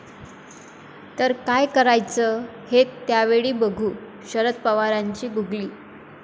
...तर काय करायचं हे त्यावेळी बघू, शरद पवारांची गुगली